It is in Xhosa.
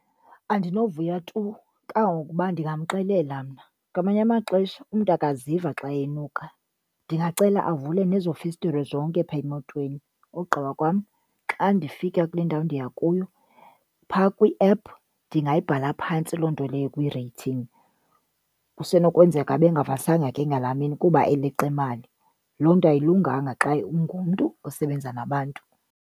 Andinovuya tu, kangokuba ndingamxelela mna. Ngamanye amaxesha umntu akaziva xa enuka. Ndingacela avule nezo festire zonke phaa emotweni ogqiba kwam xa ndifika kule ndawo ndiya kuyo, pha kwiephu ndingayibhala phantsi loo nto leyo kwi-rating. Kusenokwenzeka ebengavasanga ke ngalaa mini kuba eleqa imali, loo nto ayilunganga xa ungumntu osebenza nabantu.